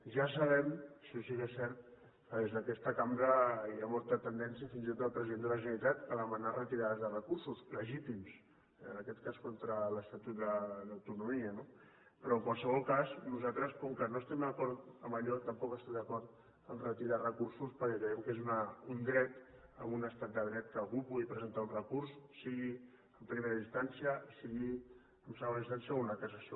ja sabem això sí que és cert que des d’aquesta cambra hi ha molta tendència fins i tot el president de la generalitat a demanar retirades de recursos legítims en aquest cas contra l’estatut d’autonomia no però en qualsevol cas nosal tres com que no estem d’acord amb allò tampoc no estem d’acord amb retirar recursos perquè creiem que és un dret en un estat de dret que algú pugui presentar un recurs sigui en primera instància sigui en segona instància o una cassació